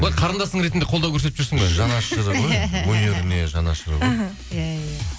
былай қарындасың ретінде қолдау көрсетіп жүрсің бе өнеріне жанашыр ғой іхі иә иә